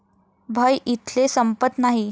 भय इथले संपत नाही..!